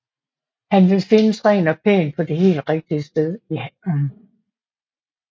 Han vil findes ren og pæn på det helt rigtige sted i haven